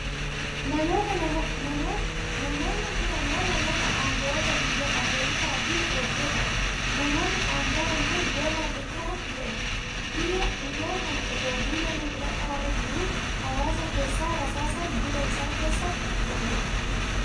Namoota, namoonni kun ammoo namoota anga'oota biyya Ameerikaafi eegdota dha. Namni anga'aan kun Donald Trump jedhama. Guyyaa kana otoo duula na filladhaarra jiruu hawaasa keessaa rasaasaan gurra isaa keessa rukutan.